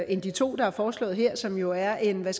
end de to der er foreslået her som jo er en man